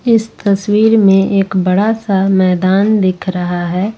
इस तस्वीर में एक बड़ा सा मैदान दिख रहा है।